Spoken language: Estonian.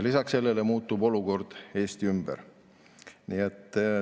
Lisaks sellele olukord Eesti ümber muutub.